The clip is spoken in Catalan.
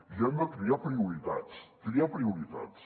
i han de triar prioritats triar prioritats